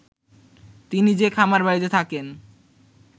তিনি যে খামারবাড়িতে থাকেন